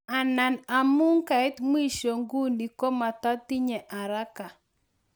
Anan amu kaiit mwisho nguni kimatatinye haraka.